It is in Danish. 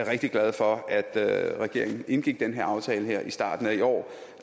rigtig glad for at at regeringen indgik den her aftale i starten af i år